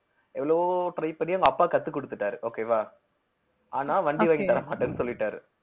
எவ்வளவோ try பண்ணி அவங்க அப்பா கத்துக் கொடுத்துட்டாரு okay வா ஆனா வண்டி வாங்கித் தர மாட்டேன்னு சொல்லிட்டாரு